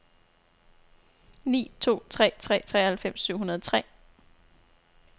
ni to tre tre treoghalvfems syv hundrede og tre